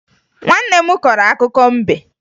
Nwanne m korọ akụkọ mbe